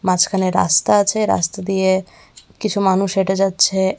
মাঝখানে রাস্তা আছে রাস্তা দিয়ে কিছু মানুষ হেঁটে যাচ্ছে।